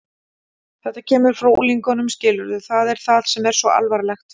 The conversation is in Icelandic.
Þetta kemur frá unglingunum, skilurðu, það er það sem er svo alvarlegt.